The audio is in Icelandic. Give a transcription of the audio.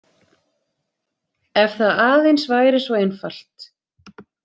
Ef það aðeins væri svo einfalt.